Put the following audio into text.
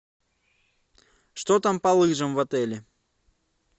что там по лыжам в отеле